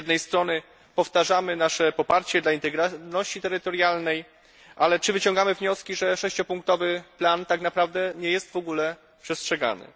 Czy powtarzając nasze poparcie dla integralności terytorialnej wyciągamy wniosek, że 6 punktowy plan tak naprawdę nie jest w ogóle przestrzegany?